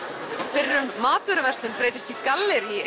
fyrrum matvöruverslun breytist í gallerí